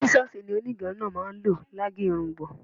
Sísọ́ọlsì ni gẹrungẹrun náà máa ń lò lá ge irungbọ̀n.